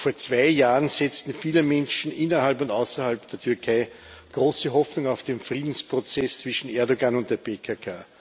Noch vor zwei Jahren setzten viele Menschen innerhalb und außerhalb der Türkei große Hoffnung auf den Friedensprozess zwischen Erdoğan und der PKK.